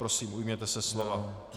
Prosím, ujměte se slova.